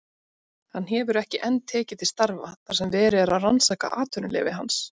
Hann hefur ekki enn tekið til starfa þar sem verið er að rannsaka atvinnuleyfi hans.